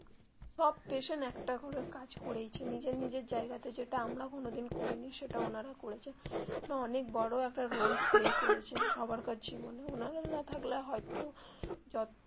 সব patient একটা ঘরের কাজ করেছে নিজের নিজের জায়গা তে যেটা আমরা কোনো দিন করিনি সেটা ওনারা করেছে ওনারা অনেক বড়ো একটা role play করেছে সবার কাছেই মানে ওনারা না থাকলে হয় তো যত.